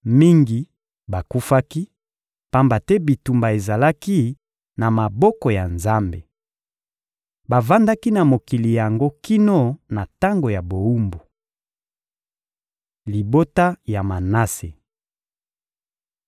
mingi bakufaki, pamba te bitumba ezalaki na maboko ya Nzambe. Bavandaki na mokili yango kino na tango ya bowumbu. Libota ya Manase